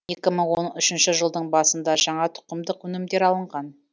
екі мың он үшінші жылдың басында жаңа тұқымдық өнімдер алынған